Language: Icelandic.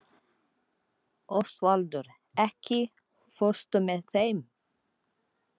Ósvaldur, ekki fórstu með þeim?